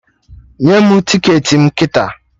Nye mụ ticketị m kịta!